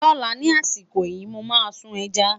lọla ní àsìkò yìí, mọ má sun ẹja